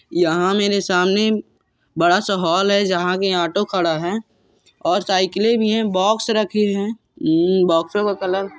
यहां मेरे सामने बड़ा सा हॉल है जहां आगे ऑटो खड़ा है और साइकिलें भी हैं। बॉक्स रखें हैं। अम्म बॉक्सों का कलर --